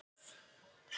Þau voru öll dáin.